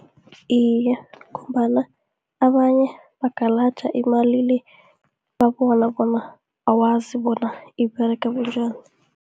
Iye, ngombana abanye bagalaja imali le, babona bona awazibona iberega bunjani.